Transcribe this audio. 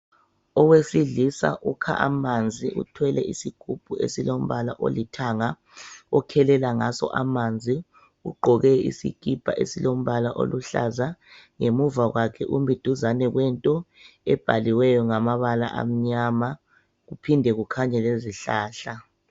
Owesilisa ukha amanzi uthwele isigubhu esilombala olithanga ,okhelela ngaso amanzi ugqoke isikipa esilombala oluhlaza ,ngemuva kwakhe umi duzane kwento ebhaliweyo ngamabala amnyama kuphinde kukhanye lezihlahla.